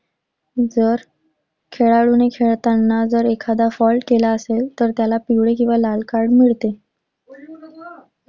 जर खेळाडूने खेळताना जर एखादा fault केला असेल तर त्याला पिवळे किंवा लाल card मिळते